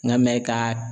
N ka mɛn ka